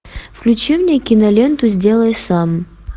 включи мне киноленту сделай сам